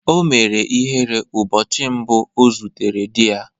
O mere ihere ụbọchị mbụ ọ zutere di ya.